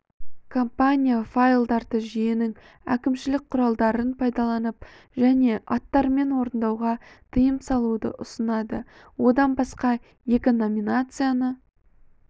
компания файлдарды жүйенің әкімшілік құралдарын пайдаланып және аттарымен орындауға тыйым салуды ұсынады одан басқа екі номинацияны